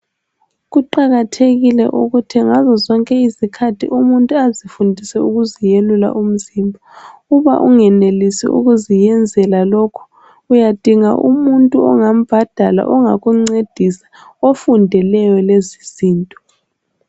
Kuqakathekile ukuthi ngazozonke izikhathi umuntu azifundise ukuziyelula umzimba. Uba ungenelisi ukuziyenzela lokhu uyadinga umuntu ongakuncedisa ofundeleyo lezizinto.